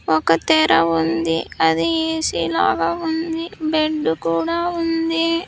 ఒక తెర ఉంది అది ఏ_సి లాగా ఉంది బెడ్ కూడా ఉంది.